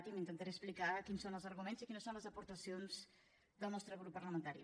i intentaré explicar quins són els arguments i quines són les aportacions del nostre grup parlamentari